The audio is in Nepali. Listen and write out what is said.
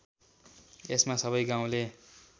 यसमा सबै गाउँले